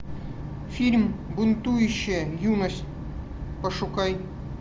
фильм бунтующая юность пошукай